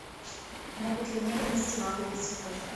могут ли мне принести вазу для цветов